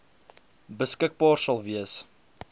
beskikbaar sal wees